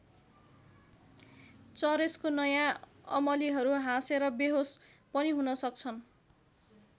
चरेसको नयाँ अमलीहरू हाँसेर वेहोस पनि हुन सक्छन्।